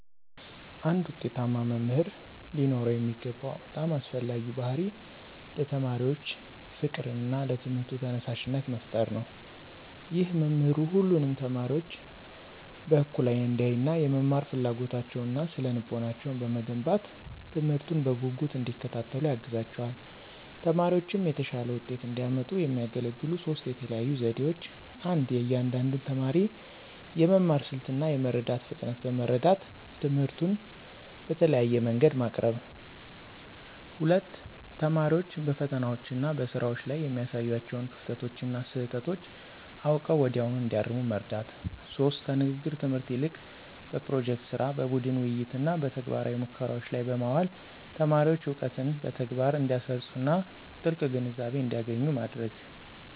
አንድ ውጤታማ መምህር ሊኖረው የሚገባው በጣም አስፈላጊው ባሕርይ ለተማሪዎች ፍቅርና ለትምህርቱ ተነሳሽነት መፍጠር ነው። ይህ መምህሩ ሁሉንም ተማሪዎች በእኩል አይን እንዲያይና፣ የመማር ፍላጎታቸውንና ስነ-ልቦናቸውን በመገንባት፣ ትምህርቱን በጉጉት እንዲከታተሉ ያግዛቸዋል። ተማሪዎችም የተሻለ ውጤት እንዲያመጡ የሚያገለግሉ ሦስት የተለዩ ዘዴዎች 1. የእያንዳንዱን ተማሪ የመማር ስልት እና የመረዳት ፍጥነት በመረዳት፣ ትምህርቱን በተለያየ መንገድ ማቅረብ። 2. ተማሪዎች በፈተናዎችና በስራዎች ላይ የሚያሳዩዋቸውን ክፍተቶችና ስህተቶች አውቀው ወዲያውኑ እንዲያርሙ መርዳት። 3. ከንግግር ትምህርት ይልቅ በፕሮጀክት ሥራ፣ በቡድን ውይይትና በተግባራዊ ሙከራዎች ላይ በማዋል ተማሪዎች እውቀትን በተግባር እንዲያሰርፁና ጥልቅ ግንዛቤ እንዲያገኙ ማድረግ።